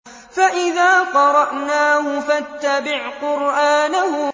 فَإِذَا قَرَأْنَاهُ فَاتَّبِعْ قُرْآنَهُ